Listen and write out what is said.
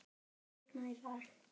Ylfur, mun rigna í dag?